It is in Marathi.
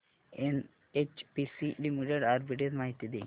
एनएचपीसी लिमिटेड आर्बिट्रेज माहिती दे